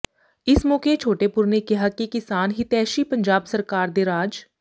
ਇਸ ਮੌਕੇ ਛੋਟੇਪੁਰ ਨੇ ਕਿਹਾ ਕਿ ਕਿਸਾਨ ਹਿਤੈਸ਼ੀ ਪੰਜਾਬ ਸਰਕਾਰ ਦੇ ਰਾਜ